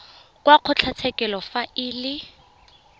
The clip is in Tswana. wa kgotlatshekelo fa e le